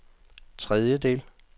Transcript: tredjedel